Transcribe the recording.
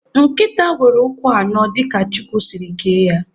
Nkịta nwere ụkwụ anọ dịka Chukwu siri kee ya.